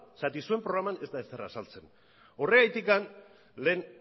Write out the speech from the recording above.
zergatik zuen programan ez da ezer azaltzen horregatik lehen